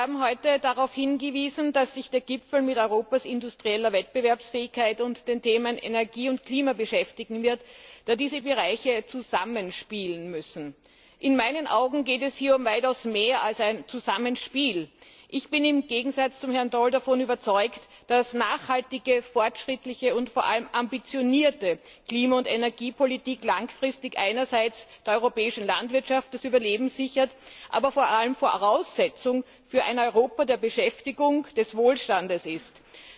Sie haben heute darauf hingewiesen, dass sich der Gipfel mit Europas industrieller Wettbewerbsfähigkeit und den Themen Energie und Klima beschäftigen wird, da diese Bereiche zusammenspielen müssen. In meinen Augen geht es hier um weitaus mehr als ein Zusammenspiel. Ich bin im Gegensatz zu Herrn Daul davon überzeugt, dass nachhaltige, fortschrittliche und vor allem ambitionierte Klima und Energiepolitik langfristig einerseits der europäischen Landwirtschaft das Überleben sichern, aber vor allem Voraussetzung für ein Europa der Beschäftigung und des Wohlstands sind.